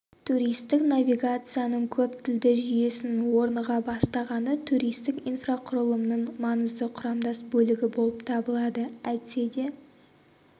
туристік навигацияның көп тілді жүйесінің орныға бастағаны туристік инфрақұрылымның маңызды құрамдас бөлігі болып табылады әйтсе де